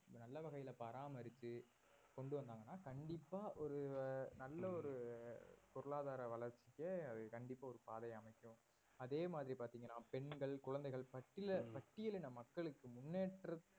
நல்ல வகையில பராமரித்து கொண்டு வந்தாங்கனா கண்டிப்பாக ஒரு நல்ல ஒரு பொருளாதார வளர்ச்சிய அது கண்டிப்பா ஒரு பாதையை அமைக்கும் அதே மாதிரி பார்த்தீங்கன்னா பெண்கள், குழந்தைகள் பட்டில~ பட்டியல் இன மக்களுக்கு முன்னேற்ற